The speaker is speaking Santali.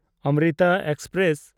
ᱚᱢᱨᱤᱛᱟ ᱮᱠᱥᱯᱨᱮᱥ